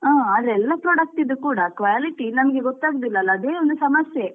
ಹಾ ಆದ್ರೆ ಎಲ್ಲ product ದ್ದು quality ಗೊತ್ತಾಗುದಿಲ್ಲ ಅಲ್ವ ಅದೇ ಒಂದು ಸಮಸ್ಯೆ.